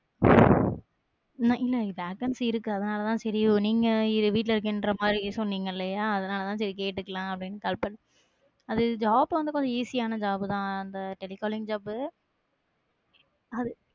உம் இல்ல vacancy இருக்கு அதனாலதான் செரி நீங்க வீட்ல இருக்கின்ற மாதிரின்னு சொன்னீங்கல்யா அதனாலதான் சரி கேட்டுக்கலாம் அப்டினு call பண்~ அது job வந்து கொஞ்சம் easy யான job தான் அந்த telecalling job உ அது